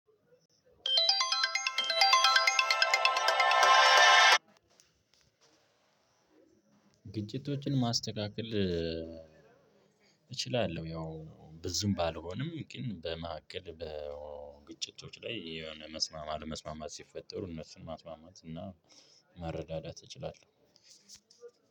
ግጭቶችን ማስተካከል እችላለሁ። ያው ብዙም ባልሆንም ግን በመሀከል በግጭቶች ላይ የሆነ መስማማት አለመስማማት ሲፈጠሩ እነሱን ማስማማት እና መረዳዳት እንችላለሁ።